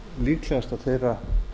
líklegast að þeirra